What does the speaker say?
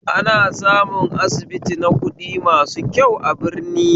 Ana samun asibiti na kuɗi masu kyau a birni